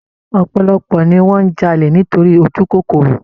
Ọ̀pọ̀lọpọ̀ ni wọn n jalè nítorí ojúkòkòrò